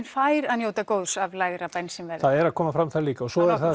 fær að njóta góðs af lægra bensínverði það er að koma fram þar líka en svo er